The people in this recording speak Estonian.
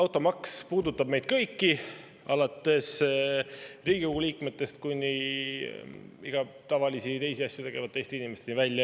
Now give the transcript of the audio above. Automaks puudutab meid kõiki, alates Riigikogu liikmetest kuni iga tavalisi ja teisi asju tegeva Eesti inimeseni välja.